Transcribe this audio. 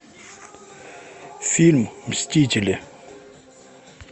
фильм мстители